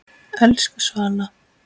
Elsku Svala.